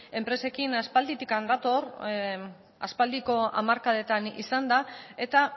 enpresekin aspalditik dator aspaldiko hamarkadetan izan da eta